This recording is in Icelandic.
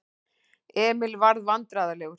Emil varð vandræðalegur.